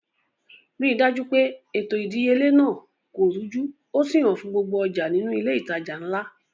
Ri dájú pé ètò ìdíyelé náà kò rújú ó sì hàn fún gbogbo ọjà nínú ilé ìtajà ńlá